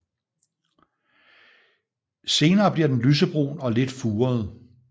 Senere bliver den lysebrun og lidt furet